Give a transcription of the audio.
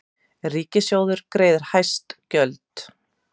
Ríkissjóður greiðir hæst gjöld